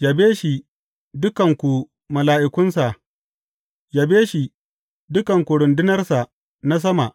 Yabe shi, dukanku mala’ikunsa, yabe shi, dukanku rundunarsa na sama.